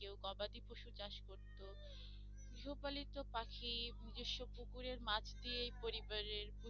কেউ গবাদি পশু চাষ করতো গৃহপালিত পাখি নিজস্সো পুকুরের মাছ দিয়ে পরিবারের